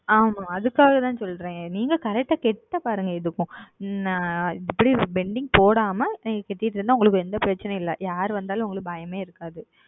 ஆமாம் அதற்க்காக தான் சொல்லுகிறேன் நீங்கள் Correct ஆக செலுத்தி பாருங்கள் எதற்கும் நான் இப்படி Pending போடாமல் நீங்கள் செலுத்தி கொண்டு இருந்தால் உங்களுக்கு எந்த பிரச்சனையும் இல்லை யார் வந்தாலும் உங்களுக்கு பயமே இருக்காது